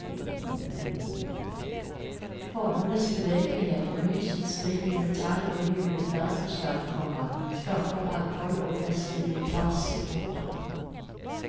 Formenes bevegelighet og lysets spill i metall og gylden bergkrystall, komma skaper mangfold og festivitas. punktum